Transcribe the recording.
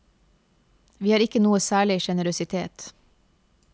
Vi har ikke noe særlig generøsitet.